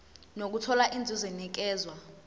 nokuthola inzuzo enikezwa